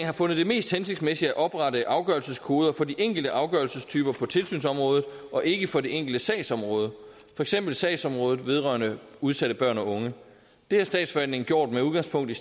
har fundet det mest hensigtsmæssigt at oprette afgørelseskoder for de enkelte afgørelsestyper på tilsynsområdet og ikke for det enkelte sagsområde for eksempel sagsområdet vedrørende udsatte børn og unge det har statsforvaltningen gjort med udgangspunkt i